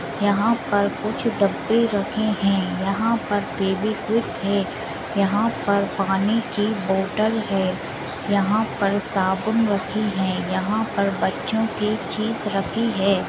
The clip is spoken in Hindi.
यहां पर कुछ डब्बे रखे हैं। यहां पर फेविक्विक है। यहां पर पानी की बोतल है। यहां पर साबुन रखी है। यहां पर बच्चों की चिप रखी है।